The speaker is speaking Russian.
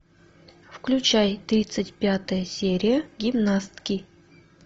включай тридцать пятая серия гимнастки